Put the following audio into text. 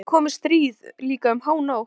Já en það getur komið stríð, líka um hánótt.